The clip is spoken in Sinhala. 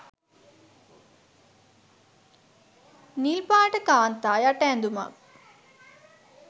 නිල්පාට කාන්තා යට ඇඳුමක්